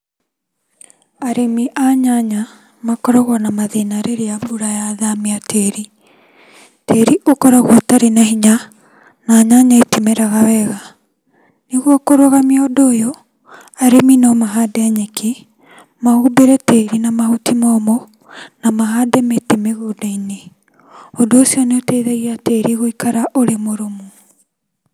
Arĩmi a nyanya makoragwo na mathĩna rĩrĩa mbura yathamia tĩri. Tĩri ũkoragwo ũtarĩ na hinya na nyanya itimeraga wega. Nĩguo kũrũgamia ũndũ ũyũ, arĩmi no mahande nyeki, mahumbĩre tĩri na mahuti momũ na mahande mĩtĩ mĩgũnda-inĩ. Ũndũ ũcio nĩ ☺ũteithagia tĩri gũikara ũrĩ mũrũmu.